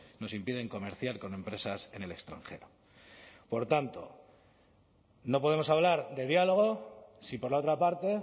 nos impiden comerciar con empresas en el extranjero por tanto no podemos hablar de diálogo si por la otra parte